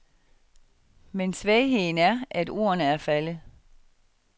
Men svagheden er, at ordene er faldet.